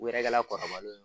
Wɛrɛ kɛra